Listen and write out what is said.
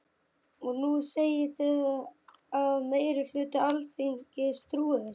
Og nú segið þið að meiri hluti Alþingis trúi þessu.